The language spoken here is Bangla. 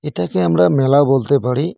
এটাকে আমরা মেলা বলতে পারি।